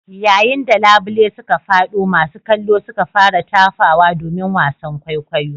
Yayin da labule suka fado masu kallo suka fara tafawa domin wasan kwaikwayo.